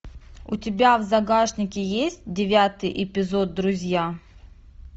у тебя в загашнике есть девятый эпизод друзья